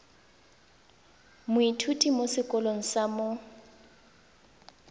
moithuti mo sekolong sa mo